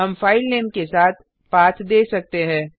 हम फाइलनेम के साथ पाथ दे सकते है